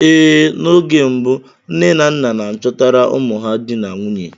Ee, n'oge mbụ nne na nna n'achọtara ụmụ ha dị na nwunye.